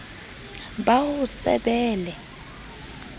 ba ho se be le